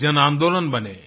एक जनांदोलन बने